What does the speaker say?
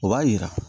O b'a jira